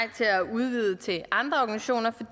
udvide det til andre organisationer